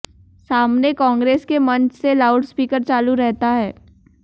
सामने कांग्रेस के मंच से लाउडस्पीकर चालू रहता है